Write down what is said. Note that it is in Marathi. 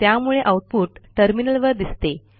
त्यामुळे आऊटपुट टर्मिनलवर दिसते